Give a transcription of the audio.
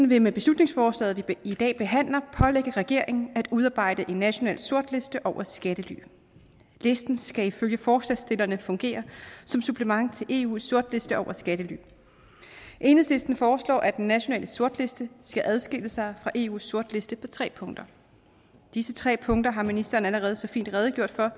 vil med beslutningsforslaget vi i dag behandler pålægge regeringen at udarbejde en national sortliste over skattely listen skal ifølge forslagsstillerne fungere som supplement til eus sortliste over skattely enhedslisten foreslår at den nationale sortliste skal adskille sig fra eus sortliste på tre punkter disse tre punkter har ministeren allerede så fint redegjort for